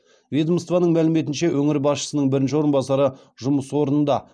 ведомствоның мәліметінше өңір басшысының бірінші орынбасары жұмыс орнында